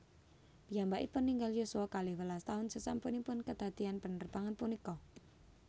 Piyambakipun ninggal yuswa kalih welas taun sasampunipun kadadian panerbangan punika